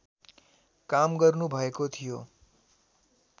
काम गर्नुभएको थियो